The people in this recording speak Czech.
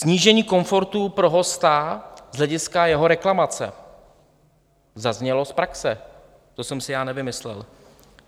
Snížení komfortu pro hosta z hlediska jeho reklamace, zaznělo z praxe, to jsem si já nevymyslel.